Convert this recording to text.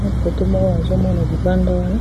,na poteau.